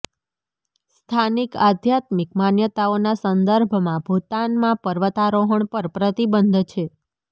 સ્થાનિક આધ્યાત્મિક માન્યતાઓના સંદર્ભમાં ભૂટાનમાં પર્વતારોહણ પર પ્રતિબંધ છે